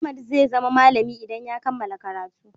Ahmad zai zama malami idan ya kammala karatu.